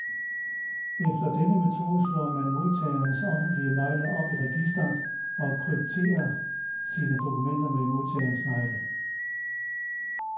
Efter denne metode slår man modtagerens offentlige nøgle op i registret, og krypterer sine dokumenter med modtagerens nøgle.